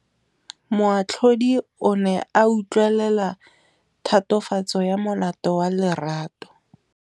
Moatlhodi o ne a utlwelela tatofatsô ya molato wa Lerato.